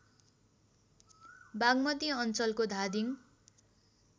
बागमती अञ्चलको धादिङ